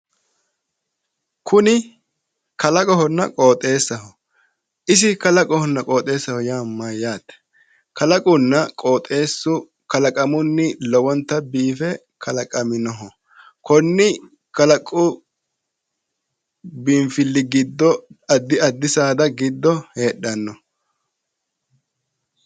Kuni kalaqohonna qooxxeessaho, isi kalaqohonna qooxxeessaho yaa mayyaate? kalaqunna qooxxeessu kalaqamunni lowontanni biife kalaqaminoho konni kalaqu biinfilli giddo addi addi saada giddo heedhanno.